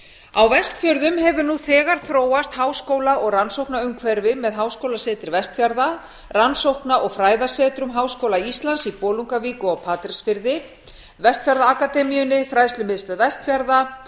á vestfjörðum hefur nú þegar þróast háskóla og rannsóknaumhverfi með háskólasetri vestfjarða rannsókna og fræðasetrum háskóla íslands í bolungarvík og á patreksfirði vestfjarðaakademíunni fræðslumiðstöð vestfjarða